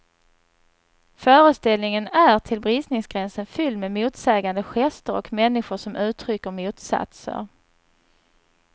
Föreställningen är till bristningsgränsen fylld med motsägande gester och människor som uttrycker motsatser.